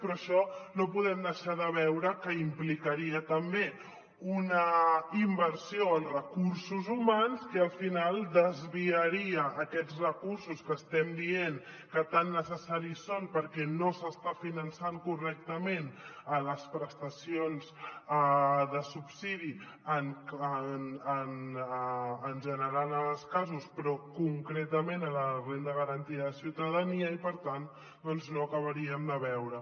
però això no podem deixar de veure que implicaria també una inversió en recursos humans que al final desviaria aquests recursos que estem dient que tan necessaris són perquè no s’estan finançant correctament les prestacions de subsidi en general en molts casos però concretament la renda garantida de ciutadania i per tant doncs no ho acabaríem de veure